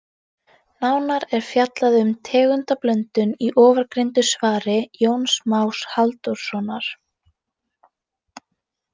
Nánar er fjallað um tegundablöndun í ofangreindu svari Jóns Más Halldórssonar.